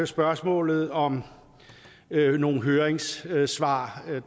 spørgsmålet om nogle høringssvar høringssvar